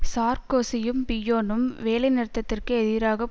சார்க்கோசியும் பிய்யோனும் வேலைநிறுத்தத்திற்கு எதிராக